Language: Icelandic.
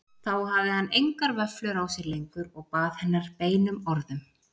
Þá hafði hann engar vöflur á sér lengur og bað hennar beinum orðum.